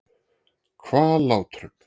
Hvallátrum